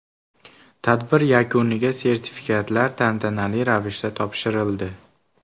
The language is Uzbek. Tadbir yakuniga sertifikatlar tantanali ravishda topshirildi.